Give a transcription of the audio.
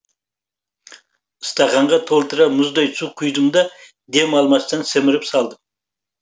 стақанға толтыра мұздай су құйдым да дем алмастан сіміріп салдым